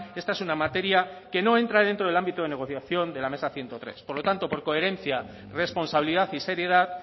esta es una materia que no entra dentro del ámbito de negociación de la mesa ciento tres por lo tanto por coherencia responsabilidad y seriedad